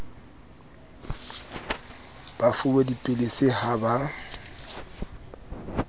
ba fuwe dipilisi ha ba